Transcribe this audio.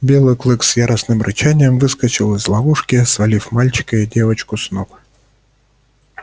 белый клык с яростным рычанием выскочил из ловушки свалив мальчика и девочку с ног